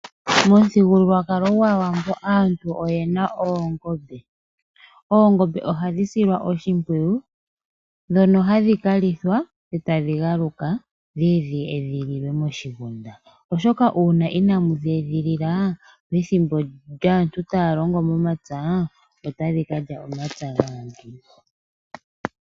Momuthigululwakalo gwAawambo aantu oyena oongombe. Oongombe ohadhi silwa oshimpwiyu ndhono hadhi kalithwa etadhi galuka dhiye dhi edhililwe moshigunda ,oshoka uuna inamu dhi edhilila pethimbo lyaantu taya longo momapya otadhi kalya omapya gaantu.